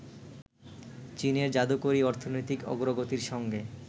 চীনের জাদুকরি অর্থনৈতিক অগ্রগতির সঙ্গে